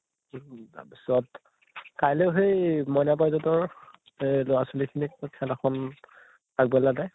উম তাৰ পিছত কাইলৈ সেই মইনা পাৰিজাতৰ এই লʼৰা ছোৱালী খিনিক খেল এখন আগবেলাতে